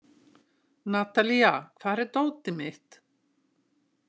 Natalía, hvar er dótið mitt?